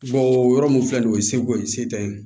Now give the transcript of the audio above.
yɔrɔ mun filɛ ni ye seko ye se tɛ ye